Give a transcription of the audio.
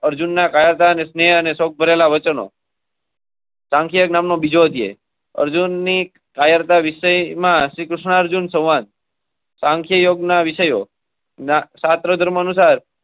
સંખ્યા અર્જુનની. અર્ધવિરામ યમાં શ્રીકૃષ્ણાર્જુન સંવાદે. કાંકે યોગના વિષયો.